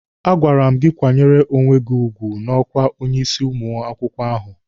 A gwara m gị kwanyere onwe gị ugwu n'ọkwa onye isi ụmụ akwụkwọ ahụ!